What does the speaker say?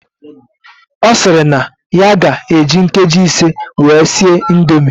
Osiri na ya ga eji nkeji ise wee sie indomie